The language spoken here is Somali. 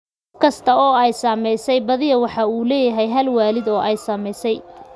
Qof kasta oo ay saamaysay badiyaa waxa uu leeyahay hal waalid oo ay saamaysay.